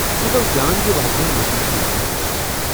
یہِ گوٚو جان زِ واریاہن لوٗکن چھےٚ یمن منٛز دلچسپی۔